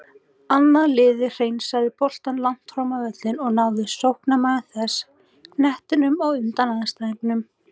Annað liðið hreinsaði boltann langt fram völlinn og náði sóknarmaður þess knettinum á undan andstæðingunum.